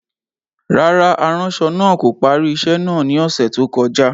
Rárá, aranṣọ naa ko pari iṣẹ naa ni ọsẹ to koja.